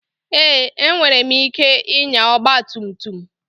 Èé! Enwere m ike ịnya ọgba tum tum.